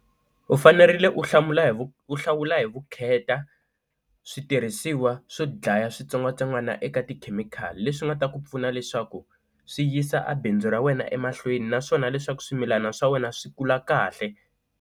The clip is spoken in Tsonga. U fanerile u hlamula hi ku hlawula hi vukheta switirhisiwa swo dlaya switsongwatsongwana eka tikhemikhali leswi nga ta ku pfuna leswaku swi yisa a bindzu ra wena emahlweni naswona leswaku swimilana swa wena swi kula kahle.